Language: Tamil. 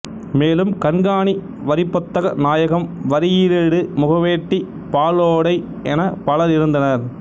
மேலும் கண்காணி வரிப்பொத்தக நாயகம் வரியிலீடு முகவேட்டி பாலோடை எனப் பலர் இருந்தனர்